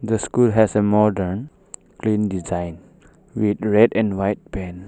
The school has a modern plain design with red and white paint.